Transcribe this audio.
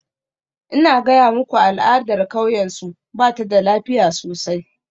Ina gaya muku al'adar kauyensu, ba ta da lafiya sosai.